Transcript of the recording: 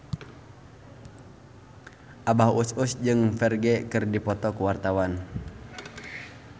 Abah Us Us jeung Ferdge keur dipoto ku wartawan